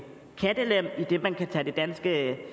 kattelem idet man kan tage det danske